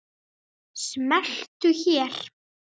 Smelltu hér.